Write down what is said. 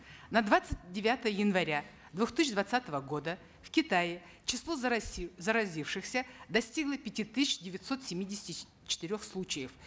на двадцать девятое января две тысячи двадцатого года в китае число заразившихся достигло пяти тысяч девятисот семидесяти четырех случаев